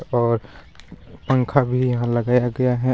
और पंखा भी यहाँ लगाया गया है।